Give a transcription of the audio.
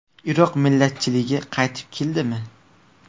Iroq millatchiligi qaytib keldimi?